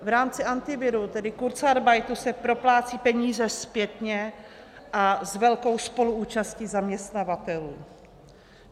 V rámci Antiviru, tedy kurzarbeitu, se proplácejí peníze zpětně a s velkou spoluúčastí zaměstnavatelů.